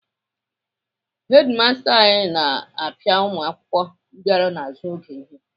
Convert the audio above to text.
Hedimasta anyị na-apịa ụmụakwụkwọ bịara n'azụ oge ihe.